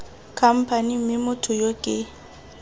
khamphane mme motho yo ke